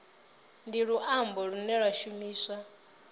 ndi luambo lune lwa shumiswa